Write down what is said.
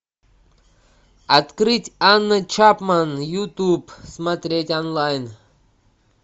открыть анна чапман ютуб смотреть онлайн